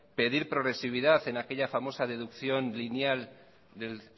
pedir progresividad en aquella famosa deducción lineal del